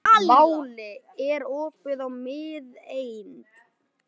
Váli, er opið í Miðeind?